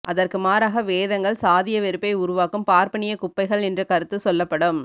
அதற்கு மாறாக வேதங்கள் சாதியவெறுப்பை உருவாக்கும் பார்ப்பனியக்குப்பைகள் என்ற கருத்து சொல்லப்படும்